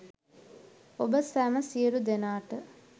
ඔබ සැම සියලු දෙනාට